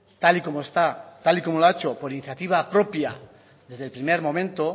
tal y como lo ha hecho por iniciativa propia desde el primer momento